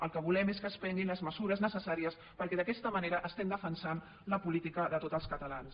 el que volem és que es prenguin les mesures necessàries perquè d’aquesta manera estem defensant la política de tots els catalans